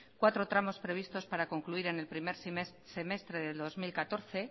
cuatro tramos previstos para concluir en el primer semestre del dos mil catorce